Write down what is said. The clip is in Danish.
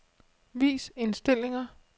Vis indstillinger.